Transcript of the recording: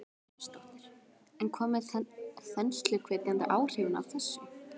Brynja Þorgeirsdóttir: En hvað með þensluhvetjandi áhrifin af þessu?